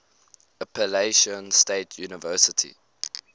appalachian state university